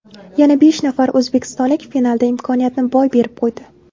Yana besh nafar o‘zbekistonlik finalda imkoniyatni boy berib qo‘ydi.